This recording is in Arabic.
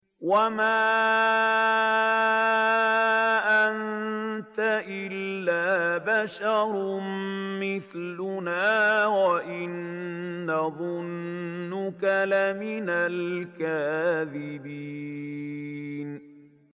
وَمَا أَنتَ إِلَّا بَشَرٌ مِّثْلُنَا وَإِن نَّظُنُّكَ لَمِنَ الْكَاذِبِينَ